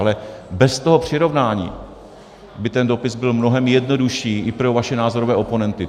Ale bez toho přirovnání by ten dopis byl mnohem jednodušší i pro vaše názorové oponenty.